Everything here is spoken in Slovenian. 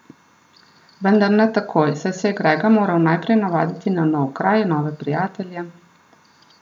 Vendar ne takoj, saj se je Grega moral najprej navaditi na nov kraj, nove prijatelje...